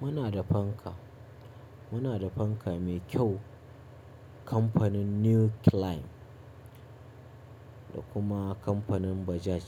Muna da fanka, muna da fanka mai kyau, kamfanin New Climb da kuma kamfanin Bajaj.